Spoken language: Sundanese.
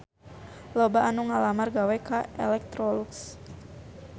Loba anu ngalamar gawe ka Electrolux